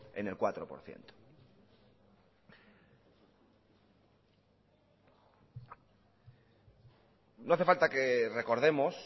en el cuatro por ciento no hace falta que recordemos